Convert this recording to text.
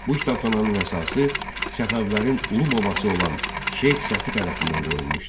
Bu kitabxananın əsası Səfəvilərin ulu babası olan Şeyx Səfi tərəfindən qoyulmuşdu.